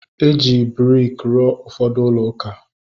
Eji briki rụọ ụfọdụ ulouka